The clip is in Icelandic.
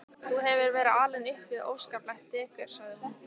Þú hefur verið alinn upp við óskaplegt dekur sagði hún.